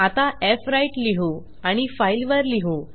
आता फ्व्राईट लिहू आणि फाइल वर लिहू